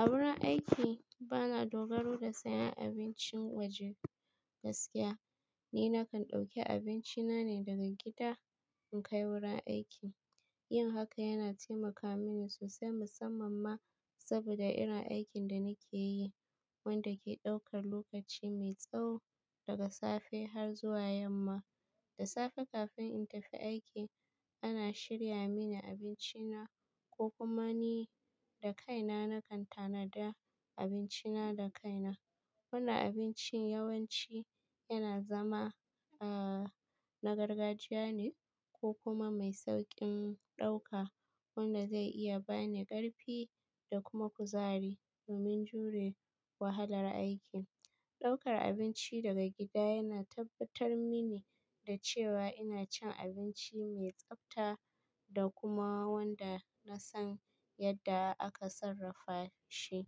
A wurin aiki, bana dogaro da sayan abincin waje gaskiya. Ni na kan ɗauki abinci na ne daga gida in kai wurin aiki. Yin haka yana taimaka mini sosai musamman ma saboda irin aikin da nake yi, wanda ke ɗaukar lokaci mai tsawo daga safe har zuwa yamma. Da safe kafin in tafi aiki, ana shirya mini abinci na ko kuma ni da kaina na kan tanada abinci na da kaina. Wannan abinci yawanci yana zama, uh, na gargajiya ne ko kuma mai sauƙin ɗauka wanda zai iya ba ni ƙarfi da kuma kuzari domin jure wahalar aiki. Ɗaukar abinci daga gida yana tabbatar mini da cewa ina cin abinci mai tsabta da kuma wanda na san yadda aka sarrafa shi.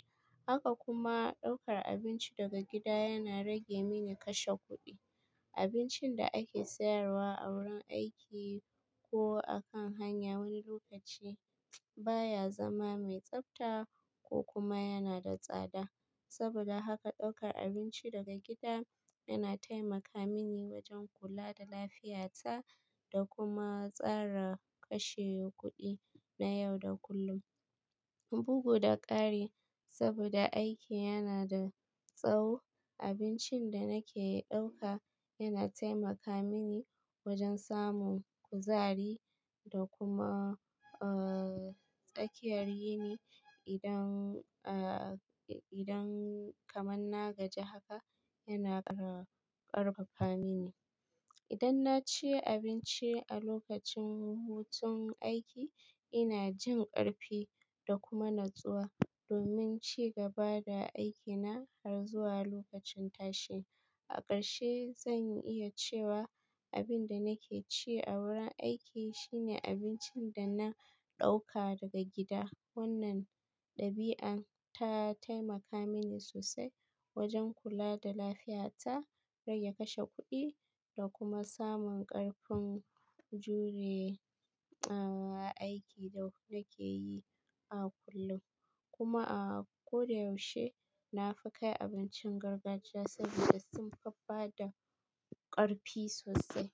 Haka kuma ɗaukar abinci daga gida yana rage mini kashe kuɗi. Abincin da ake sayarwa a wurin aiki ko a kan hanya wani lokaci baya zama mai tsabta ko kuma yana da tsada. Saboda haka ɗaukar abinci daga gida yana taimaka mini wajen kula da lafiyata da kuma tsara kashe kuɗi na yau da kullum. Bugu da ƙari saboda aiki yana da tsawo, abincin da nake ɗauka yana taimaka mini wajen samun kuzari da kuma, uh, tsakiyar yini. Idan, uh, idan kaman na gaji haka, yana ƙarfafa mi ni. Idan na ci abinci a lokacin hutun aiki, ina jin ƙarfi da kuma natsuwa domin ci gaba da aiki na har zuwa lokacin tashi. A ƙarshe zan iya cewa abin da nake ci a wurin aiki shine abincin da na ɗauka daga gida. Wannan ɗabi'a ta taimaka mini sosai wajen kula da lafiyata, rage kashe kuɗi, da kuma samun ƙarfin juye, uh, aiki da nake yi a kullum. Kuma, uh, ko da yaushe na fi kai abincin gargajiya saboda sun faffada ƙarfi sosai.